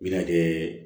Mina kɛ